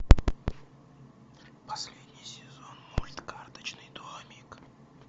последний сезон мульт карточный домик